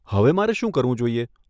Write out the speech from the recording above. હવે મારે શું કરવું જોઈએ?